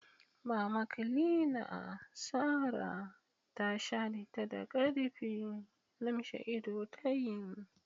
Mama Cleaner Sarah ta shareta da k'arfi, lumshe ido tayi.